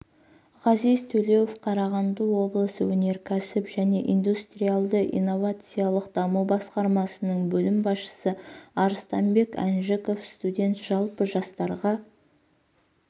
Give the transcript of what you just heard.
ғазиз төлеуов қарағанды облысы өнеркәсіп және индустриялды-инновациялық даму басқармасының бөлім басшысы арыстанбек әнжіков студент жалпы жастарға